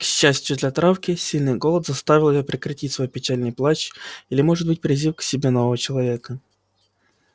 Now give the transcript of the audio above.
к счастью для травки сильный голод заставил её прекратить свой печальный плач или может быть призыв к себе нового человека